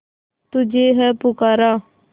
तुझे है पुकारा